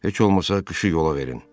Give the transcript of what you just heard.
Heç olmasa qışı yola verin.